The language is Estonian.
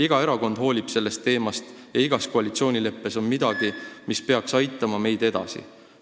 Iga erakond hoolib sellest teemast ja igas koalitsioonileppes on midagi, mis peaks meid edasi aitama.